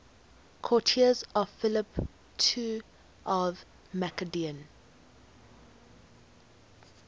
courtiers of philip ii of macedon